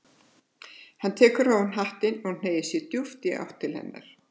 Hann tekur ofan hattinn og hneigir sig djúpt í áttina til hennar.